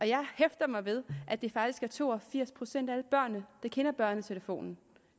jeg hæfter mig ved at det faktisk er to og firs procent af alle børn der kender børnetelefonen